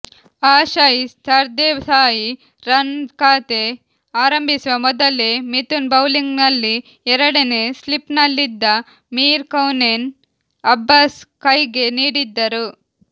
Ashay Sardesai run ಖಾತೆ ಆರಂಭಿಸುವ ಮೊದಲೇ ಮಿಥುನ್ ಬೌಲಿಂಗ್ನಲ್ಲಿ ಎರಡನೇ ಸ್ಲಿಪ್ನಲ್ಲಿದ್ದ ಮೀರ್ ಕೌನೇನ್ ಅಬ್ಬಾಸ್ ಕೈಗೆ ನೀಡಿದ್ದರು